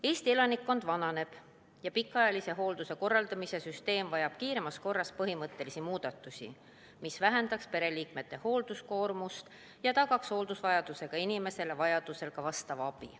Eesti elanikkond vananeb ja pikaajalise hoolduse korraldamise süsteem vajab kiiremas korras põhimõttelisi muudatusi, mis vähendaks pereliikmete hoolduskoormust ja tagaks hooldusvajadusega inimesele vajaduse korral ka abi.